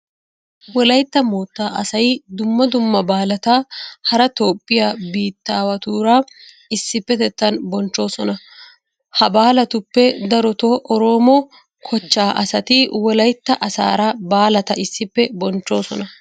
Wolaytta moottaa asay dumma dumma baalata hara toophphiya biittaawatuura issippetettan bonchchoosona. Ha baalatuppe darotoo oroomo kochchaa asati wolaytta asaara baalata issippe bonchchoosona.